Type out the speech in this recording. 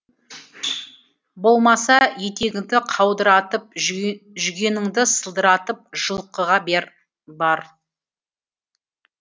болмаса етегіңді қаудыратып жүгеніңді сылдыратып жылқыға бар